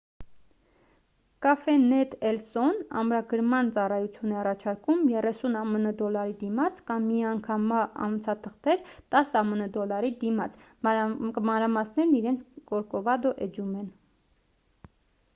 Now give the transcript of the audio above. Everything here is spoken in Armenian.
cafenet el so-ն ամրագրման ծառայություն է առաջարկում 30 ամն դոլարի դիմաց կամ միանգամյա անցաթղթեր 10 ամն դոլարի դիմաց մանրամասներն իրենց կորկովադո էջում են: